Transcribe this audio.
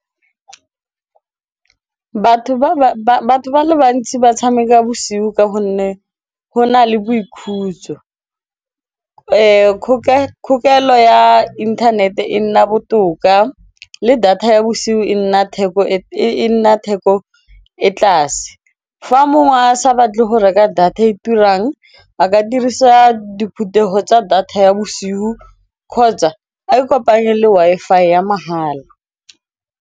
Batho ba le bantsi ba tshameka bosigo ka gonne go na le boikhutso kgokelo ya internet e nna botoka le data ya bosigo e nna theko e tlase, fa mongwe a sa batle go reka data e turang a ka dirisa diphuthego tsa data ya bosigo kgotsa a ikopanye le Wi-Fi ya mahala.